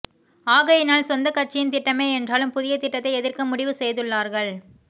ஆகையினால் சொந்தக் கட்சியின் திட்டமே என்றாலும் புதிய திட்டத்தை எதிர்க்க முடிவு செய்துள்ளார்கள்